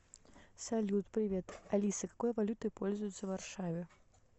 салют привет алиса какой валютой пользуются в варшаве